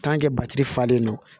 batiri falen don